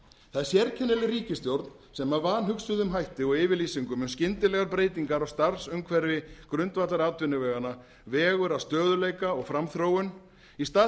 það er sérkennileg ríkisstjórn sem að vanhugsuðum hætti og yfirlýsingum um skyndilegar breytingar á starfsumhverfi grundvallaratvinnuveganna vegur að stöðugleika og framþróun í stað þess